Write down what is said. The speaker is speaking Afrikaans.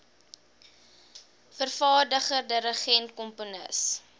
vervaardiger dirigent komponis